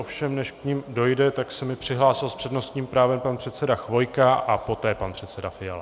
Ovšem než k nim dojde, tak se mi přihlásil s přednostním právem pan předseda Chvojka a poté pan předseda Fiala.